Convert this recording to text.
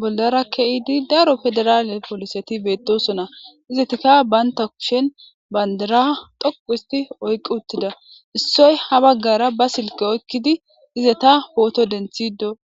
bollara ke7idi daro pedirale pooliseti beetosona. Izetika bantta kushen banddira xoqu histti oyqqi uttida. Issoy ha baggara ba silke oyikidi izeta pooto denththido